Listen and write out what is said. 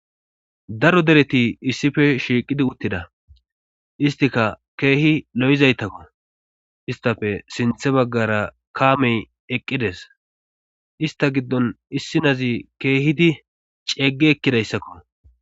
daro dereti issife shiiqidi uttida istika keehi lo7izaytakko istafe sinthe baggara kaamey eqqides ista giddon issinazi keehidi ceegge ekkidayssakko